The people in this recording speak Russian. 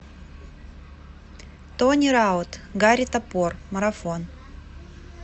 тони раут гарри топор марафон